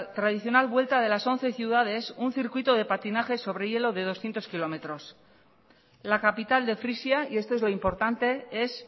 tradicional vuelta de las once ciudades un circuito de patinaje sobre hielo de doscientos kilómetros la capital de frisia y esto es lo importante es